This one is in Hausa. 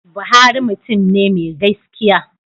Buhari mutum ne mai gaskiya.